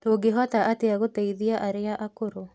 Tũngĩhota atĩa gũteithia arĩa akũrũ